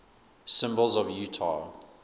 symbols of utah